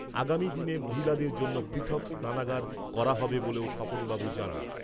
আগামী দিনে মহিলাদের জন্য পৃথক স্নানাগার করা হবে বলেও স্বপনবাবু জানান।